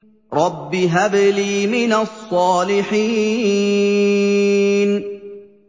رَبِّ هَبْ لِي مِنَ الصَّالِحِينَ